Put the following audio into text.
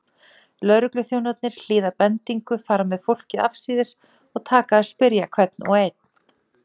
Lögregluþjónarnir hlýða bendingu, fara með fólkið afsíðis og taka að spyrja hvern og einn.